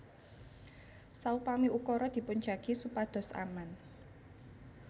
Saupami ukara dipun jagi supados aman